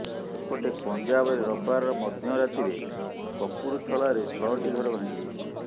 ସେପଟେ ପଞ୍ଜାବରେ ରବିବାର ମଧ୍ୟ ରାତିରେ କପୁରଥଲାରେ ଛଅଟି ଘର ଭାଙ୍ଗିଯାଇଛି